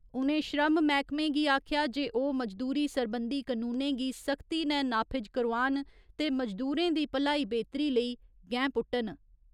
उ'नें श्रम मैह्‌कमें गी आखेआ जे ओह् मजदूरी सरबंधी कनूनें गी सख्ती नै नाफिज करोआन ते मजदूरें दी भलाई बेह्‌तरी लेई गैंह्‌ पुट्टन।